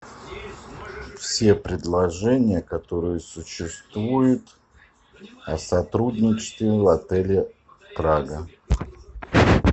все предложения которые существуют о сотрудничестве в отеле прага